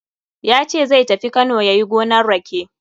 Ya ce zai tafi Kano yayi gonan rake.